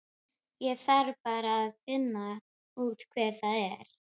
Ég þarf bara að finna út hver það er.